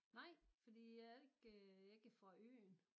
Nej fordi jeg er ikke jeg er ikke fra øen